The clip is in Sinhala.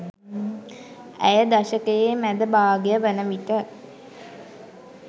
ඇය දශකයේ මැද භාගය වන විට